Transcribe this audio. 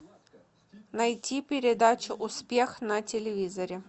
найти передачу успех на телевизоре